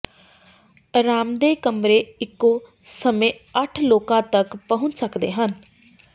ਅਰਾਮਦੇਹ ਕਮਰੇ ਇੱਕੋ ਸਮੇਂ ਅੱਠ ਲੋਕਾਂ ਤਕ ਪਹੁੰਚ ਸਕਦੇ ਹਨ